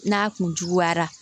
N'a kun juguyara